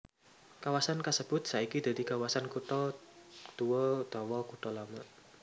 Kawasan kasebut saiki dadi kawasan kutha tuwa utawa kutha lama